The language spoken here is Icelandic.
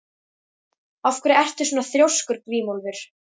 Af hverju ertu svona þrjóskur, Grímólfur?